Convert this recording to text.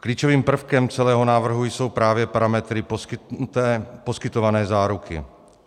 Klíčovým prvkem celého návrhu jsou právě parametry poskytované záruky.